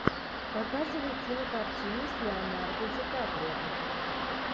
показывай кинокартину с леонардо ди каприо